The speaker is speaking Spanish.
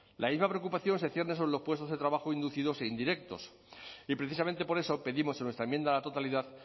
la misma preocupación se cierne sobre los puestos de trabajo inducidos e indirectos y precisamente por eso pedimos en nuestra enmienda a la totalidad